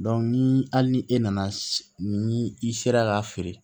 ni hali ni e nana ni i sera k'a feere